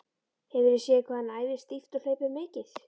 Hefurðu séð hvað hann æfir stíft og hleypur mikið?